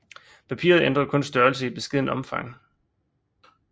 Papiret ændrer kun størrelse i beskedent omfang